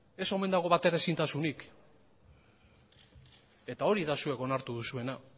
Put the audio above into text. ez omen dago bateraezintasunik eta hori da zuek onartu duzuena